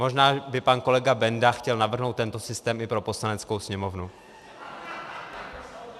Možná by pan kolega Benda chtěl navrhnout tento systém i pro Poslaneckou sněmovnou.